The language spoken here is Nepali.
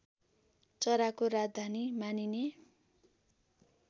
चराको राजधानी मानिने